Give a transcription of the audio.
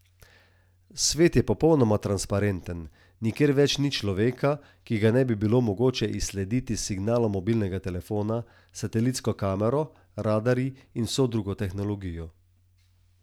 Svet je popolnoma transparenten, nikjer več ni človeka, ki ga ne bi bilo mogoče izslediti s signalom mobilnega telefona, satelitsko kamero, radarji in vso drugo tehnologijo.